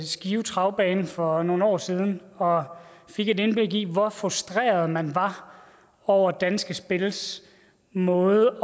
skive travbane for nogle år siden og fik et indblik i hvor frustreret man var over danske spils måde